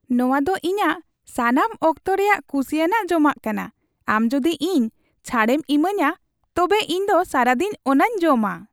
ᱱᱚᱣᱟ ᱫᱚ ᱤᱧᱟᱜ ᱥᱟᱱᱟᱢ ᱚᱠᱛᱚ ᱨᱮᱭᱟᱜ ᱠᱩᱥᱤᱭᱟᱱᱟᱜ ᱡᱚᱢᱟᱜ ᱠᱟᱱᱟ, ᱟᱢ ᱡᱩᱫᱤ ᱤᱧ ᱪᱷᱟᱹᱲᱮᱢ ᱤᱢᱟᱹᱧᱟ ᱛᱚᱵᱮ ᱤᱧ ᱫᱚ ᱥᱟᱨᱟᱫᱤᱱ ᱚᱱᱟᱧ ᱡᱚᱢᱟ ᱾